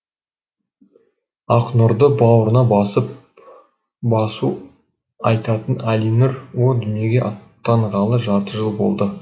ақнұрды бауырына басып басу айтатын әлинұр о дүниеге аттанғалы жарты жыл болды